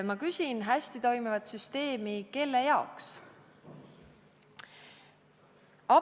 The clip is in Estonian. Ma küsin: hästi toimivat süsteemi kelle jaoks?